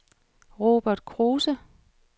Robert Kruse